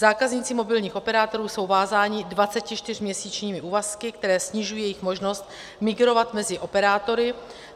Zákazníci mobilních operátorů jsou vázáni 24měsíčními úvazky, které snižují jejich možnost migrovat mezi operátory.